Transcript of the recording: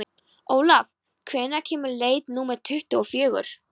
Olav, hvenær kemur leið númer tuttugu og fjögur?